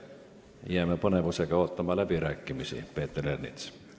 Jääme põnevusega ootama läbirääkimisi, Peeter Ernits.